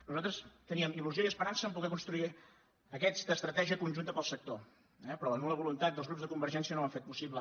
nosaltres teníem il·lusió i esperança de poder construir aquesta estratègia conjunta per al sector eh però la nul·la voluntat dels grups de convergència no ho han fet possible